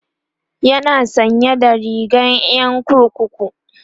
yana sanye da rigar Yan kurkuku